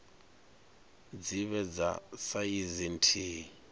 dzi vhe dza saizi nthihi